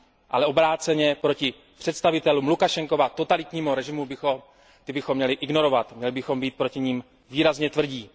Ale obráceně představitele Lukašenkova totalitního režimu bychom měli ignorovat, měli bychom být proti nim výrazně tvrdí.